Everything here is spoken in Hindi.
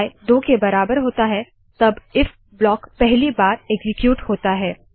जब आई 2 के बराबर होता है तब इफ ब्लाक पहली बार एक्सीक्यूट होता है